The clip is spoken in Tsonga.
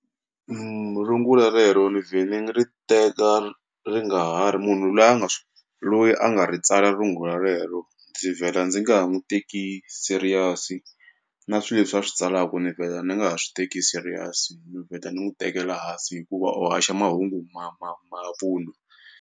rungula rero ni vhe ni ri teka ri nga ha ri munhu loyi a nga loyi a nga ri tsala rungula rero ndzi vhela ndzi nga ha n'wu teki serious na swi leswi a swi tsalaku ni vhela ni nga ha swi teki serious ni vheta ni n'wu tekela hansi hikuva u haxa mahungu ma ma mavun'wa.